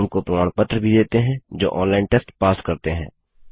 उनको प्रमाण पत्र भी देते हैं जो ऑनलाइन टेस्ट पास करते हैं